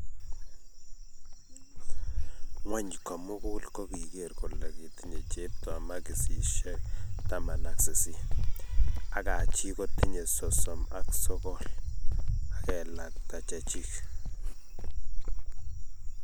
Ngony komukul ko kiger kole kitinye chepto makishe taman aki sisit ak Haji kotinye sosom aki sokol ak kelakta chechik